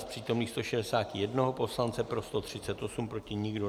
Z přítomných 161 poslance pro 144, proti nikdo.